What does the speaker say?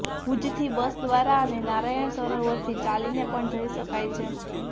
ભુજથી બસ દ્વારા અને નારાયણ સરોવરથી ચાલીને પણ જઇ શકાય છે